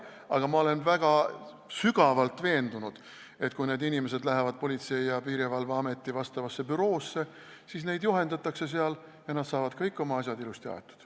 Aga ma olen väga sügavalt veendunud, et kui need inimesed lähevad Politsei- ja Piirivalveameti vastavasse büroosse, siis neid seal juhendatakse ja nad saavad kõik oma asjad ilusti aetud.